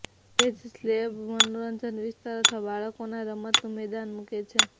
તે જ સ્લેબ મનોરંજન વિસ્તાર અથવા બાળકોના રમતનું મેદાન મૂકે છે